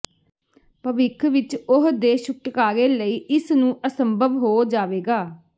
ਭਵਿੱਖ ਵਿੱਚ ਉਹ ਦੇ ਛੁਟਕਾਰੇ ਲਈ ਇਸ ਨੂੰ ਅਸੰਭਵ ਹੋ ਜਾਵੇਗਾ